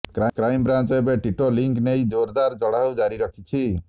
crime branch ଏବେ ଟିଟୋ link ନେଇ ଜୋରଦାର ଚଢାଉ ଜାରି ରଖିଛି